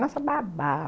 Nossa, babava.